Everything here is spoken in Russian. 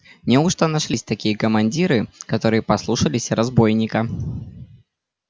неужто нашлись такие командиры которые послушались разбойника